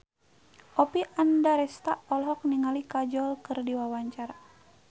Oppie Andaresta olohok ningali Kajol keur diwawancara